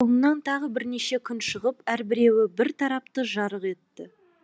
оның соңынан тағы бірнеше күн шығып әрбіреуі бір тарапты жарық етті